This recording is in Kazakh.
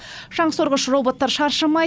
шаңсорғыш роботтар шаршамай